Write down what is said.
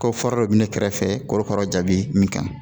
Ko fura dɔ bɛ ne kɛrɛfɛ korokara jaabi min kan